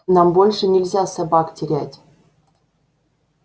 нам больше нельзя собак терять